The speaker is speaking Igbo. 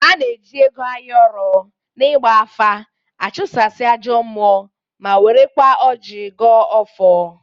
A na-eji ego ayọrọ n'igba afa achụsasị ajọọ mmụọ ma werekwa ọji gọọ ọfọ.